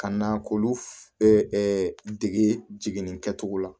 Ka na k'olu dege jigin kɛcogo la